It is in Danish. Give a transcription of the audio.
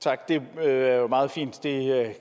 tak det er jo meget fint det